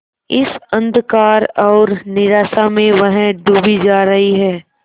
इस अंधकार और निराशा में वह डूबी जा रही है